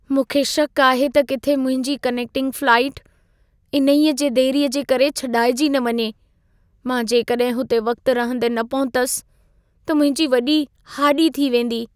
मूंखे शकु आहे त किथे मुंहिंजी कनेक्टिंग फ़्लाइटु, इन्हे जी देरीअ जे करे छॾाइजी न वञे। मां जेकॾहिं हुते वक़्त रहंदे न पहुतसि त मुंहिंजी वॾी हाञी थी वेंदी।